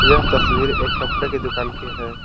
यह तस्वीर एक कपड़े के दुकान की है।